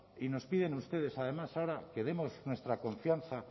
y nos piden ustedes además que demos nuestra confianza